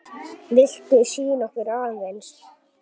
Viltu sýna okkur aðeins?